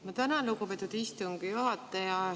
Ma tänan, lugupeetud istungi juhataja!